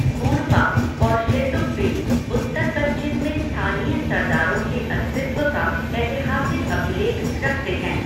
मोनपा और शेरडुकपेन उत्तर पश्चिम में स्थानीय सरदारों के अस्तित्व का ऐतिहासिक अभिलेख रखते हैं।